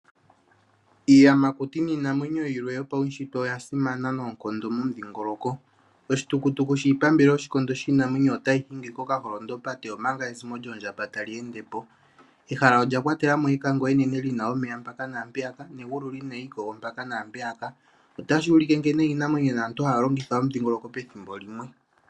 Iiyamakuti niinamwenyo yimwe yipawufupi oyasimana unene noonkondo momudhingoloko oshitukutuku shiipambele yiinamwenyo otashi hingwa kokaholondopate omanga ezimo lyoondjamba talyeendepo. Ehala olya kwatelamo ekango enene lyina omeya mpaka naampeyaka negulu lina iikongo mpaka naampeyaka shino otashuulike nkene aantu niinamwenyo haya longitha omudhingoloko pethimbo limwe.